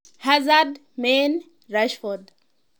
Hazard, Mane, Rashford.